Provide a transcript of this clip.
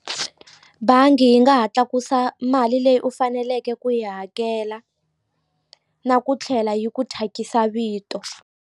Bangi yi nga ha tlakusa mali leyi u faneleke ku yi hakela na ku tlhela yi ku thyakisa vito.